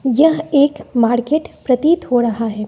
यह एक मार्केट प्रतीत हो रहा है।